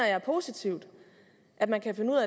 er positivt at man kan finde ud